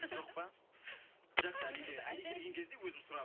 жоқ па жақсы али келген кезде өзім сұрап